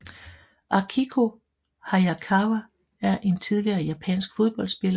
Akiko Hayakawa er en tidligere japansk fodboldspiller